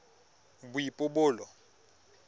boipobolo